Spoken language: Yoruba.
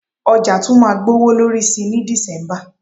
Ọjà tún máa gbowó lórí sí ní December